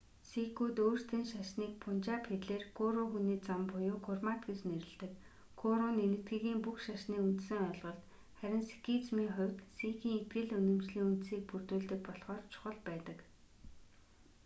сикүүд өөрсдийн шашныг пунжаб хэлээр гуру хүний зам буюу гурмат гэж нэрлэдэг гуру нь энэтхэгийн бүх шашны үндсэн ойлголт харин сикизмийн хувьд сикийн итгэл үнэмшлийн үндсийг бүрдүүлдэг болохоор чухал байдаг